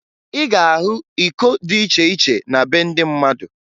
Ị ga-ahụ iko dị iche iche na be ndị mmadụ